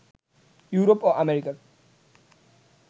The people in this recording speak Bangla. ইউরোপ ও আমেরিকার